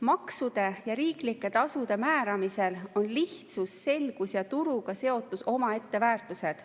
Maksude ja riiklike tasude määramisel on lihtsus, selgus ja turuga seotus omaette väärtused.